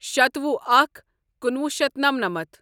شتوُہ اکھ کُنوُہ شیتھ نمنَمتھ